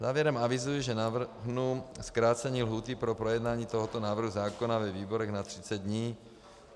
Závěrem avizuji, že navrhnu zkrácení lhůty pro projednání tohoto návrhu zákona ve výborech na 30 dní.